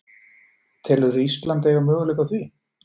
Telurðu Ísland eiga möguleika á því?